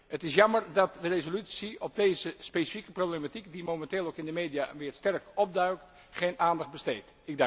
op. Het is jammer dat de resolutie aan deze specifieke problematiek, die momenteel ook in de media weer sterk opduikt, geen aandacht besteedt.